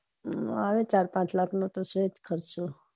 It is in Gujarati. આવે ચાર પાંચ લાખ નો તો છેજ તે ખર્ચો